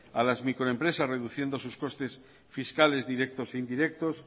a las microempresas reduciendo sus costes fiscales directos e indirectos